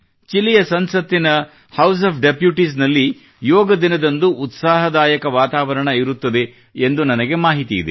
ಚಿಲಿಯ ಸಂಸತ್ತಿನ House of Deputies ನಲ್ಲಿ ಯೋಗ ದಿನದಂದು ಉತ್ಸಾಹದಾಯಕ ವಾತಾವರಣ ಇರುತ್ತದೆ ಎಂದು ನನಗೆ ಮಾಹಿತಿ ಇದೆ